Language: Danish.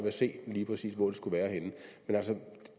at se lige præcis hvor det skulle være henne men